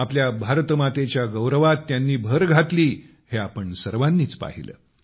आपल्या भारत मातेच्या गौरवात त्यांनी भर घातली हे आपण सर्वांनीच पाहिले